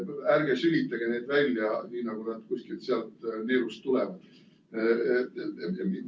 Ärge sülitage neid välja, nii nagu nad kuskilt neelust tulevad.